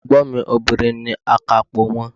Ègbón mi Obìnrin ni akápò won